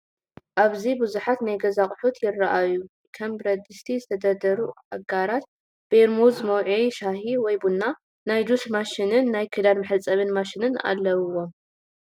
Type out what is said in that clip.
ኣብዚ ብዙት ናይ ገዛ ኣቕሑት ይራኣዩ፡፡ ከም ብረትድስቲ፣ ዝተደርደሩ ኣጋራት፣ ፔርሙዝ መውዐዬ ሻሂ ወይ ቡና፣ ናይ ጁሽ ማሽንን ናይ ክዳን መሕፀቢት ማሽንን ኣለውዎም፡፡